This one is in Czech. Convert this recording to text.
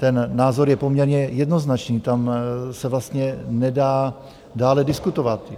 Ten názor je poměrně jednoznačný, tam se vlastně nedá dále diskutovat.